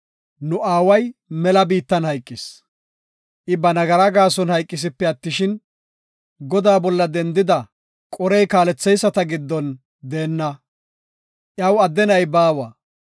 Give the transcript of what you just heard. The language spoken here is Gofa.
“Nu aaway mela biittan hayqis; I ba nagaraa gaason hayqisipe attishin, Godaa bolla dendida Qore kaalleyisata giddon deenna. Iyaw adde na7i baawa.